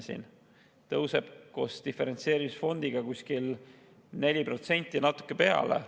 See tõuseb tänu ka diferentseerimisfondi rahale kuskil 4% ja natuke peale.